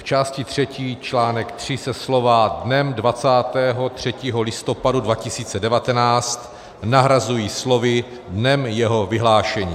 V části třetí, čl. III se slova "dnem 23. listopadu 2019" nahrazují slovy "dnem jeho vyhlášení".